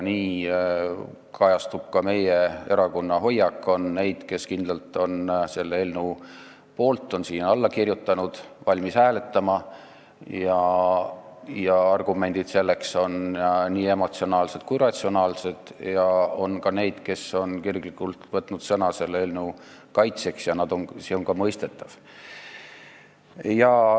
See kajastub ka meie erakonna hoiakus: on neid, kes on kindlalt selle eelnõu poolt, on sellele alla kirjutanud ja on valmis hääletama, argumente selleks on nii emotsionaalseid kui ka ratsionaalseid, ja on ka neid, kes on kirglikult võtnud sõna selle eelnõu vastu, ja see on ka mõistetav.